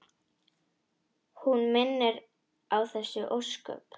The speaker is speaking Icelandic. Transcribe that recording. Hún minnir á þessi ósköp.